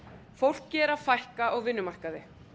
fólki er að fækka á vinnumarkaði